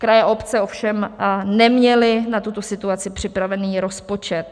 Kraje, obce ovšem neměly na tuto situaci připravený rozpočet.